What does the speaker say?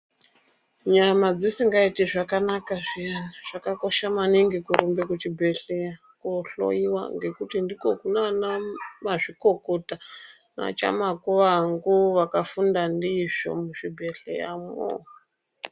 Nyama dzisingaiti zvakanaka zviyani zvakakosha maningi murumba kuchibhedhleya kohloiwa ngokuti ndiko kunana vana mazvikokota chamakuvangu vakafunda ndizvo muzvibhedhleya mo.